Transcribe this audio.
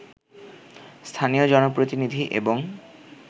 স্থানীয় জনপ্রতিনিধি এবং